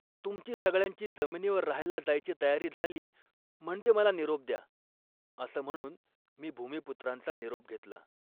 "तुमची सगळ्यांची जमिनीवर राहायला जायची तयारी झाली, म्हणजे मला निरोप द्या. " असं म्हणून मी भूमिपुत्रांचा निरोप घेतला